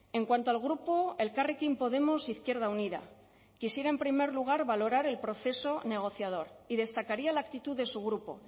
en cuanto al grupo elkarrekin podemos izquierda unida quisiera en primer lugar valorar el proceso negociador y destacaría la actitud de su grupo